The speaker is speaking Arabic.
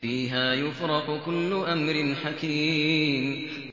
فِيهَا يُفْرَقُ كُلُّ أَمْرٍ حَكِيمٍ